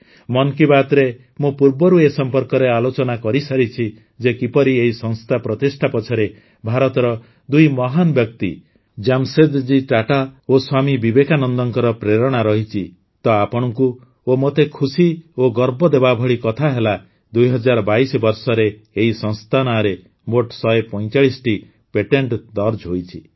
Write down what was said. ମନ୍ କୀ ବାତ୍ରେ ମୁଁ ପୂର୍ବରୁ ଏ ସମ୍ପର୍କରେ ଆଲୋଚନା କରିସାରିଛି ଯେ କିପରି ଏହି ସଂସ୍ଥା ପ୍ରତିଷ୍ଠା ପଛରେ ଭାରତର ଦୁଇ ମହାନ ବ୍ୟକ୍ତି ଜାମସେଦଜୀ ଟାଟା ଓ ସ୍ୱାମୀ ବିବେକାନନ୍ଦଙ୍କ ପ୍ରେରଣା ରହିଛି ତ ଆପଣଙ୍କୁ ଓ ମୋତେ ଖୁସି ଓ ଗର୍ବ ଦେବା ଭଳି କଥା ହେଲା ୨୦୨୨ ବର୍ଷରେ ଏହି ସଂସ୍ଥା ନାଁରେ ମୋଟ ୧୪୫ଟି ପେଟେଣ୍ଟ ଦର୍ଜ ହୋଇଛି